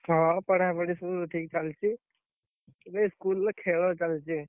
ହଁ ପଢାପଢି ସବୁ ଠିକ୍, ଚାଲଚି। ଏବେ ଇ~ school ରେ ଖେଳ ଚାଲଚି।